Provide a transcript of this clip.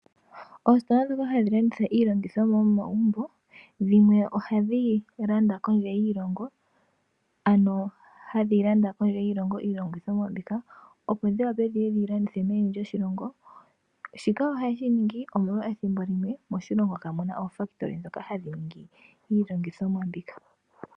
Oositola dhoka hadhi landitha iilongithomwa yomomagumbo dhimwe ohadhi landa kondje yiilongo ano hadhi landa kondje yiilongo iilongithomwa mbika opo dhiwape dhiye dhiyi landithe meni lyoshilongo. Shika ohaye shiningi omolwa ethimbo limwe moshilongo kamuna omahangano ngoka taga ningi iilongithomwa mbika.